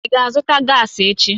Ị ga-azụta gaasi echi?